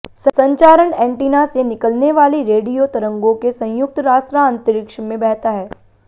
संचारण एंटीना से निकलने वाली रेडियो तरंगों के संयुक्त रास्ता अंतरिक्ष में बहता है